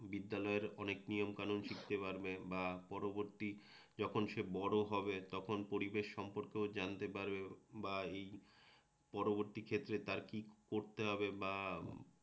বিদ্যালয়ের অনেক নিয়মকানুন শিখতে পারবে বা পরবর্তী যখন সে বড় হবে তখন পরিবেশ সম্পর্কেও জানতে পারবে।